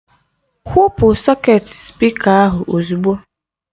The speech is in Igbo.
Kwụpụ sọketi spịka ahụ ozugbo!